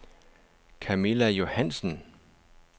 Kamilla Johannsen